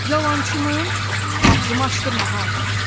Yalançının ağzımı açdırma ha.